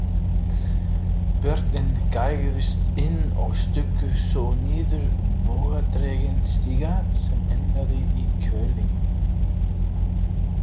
Börnin gægðust inn og stukku svo niður bogadreginn stiga sem endaði í hvelfingu.